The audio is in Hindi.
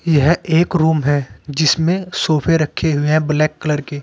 यह एक रूम है जिसमें सोफे रखे हुए हैं ब्लैक कलर के।